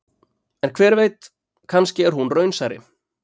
En hver veit, kannski er hún raunsærri.